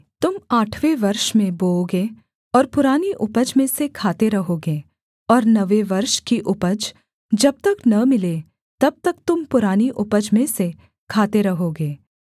तुम आठवें वर्ष में बोओगे और पुरानी उपज में से खाते रहोगे और नवें वर्ष की उपज जब तक न मिले तब तक तुम पुरानी उपज में से खाते रहोगे